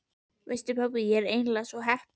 Veistu pabbi, ég er eiginlega svo heppin.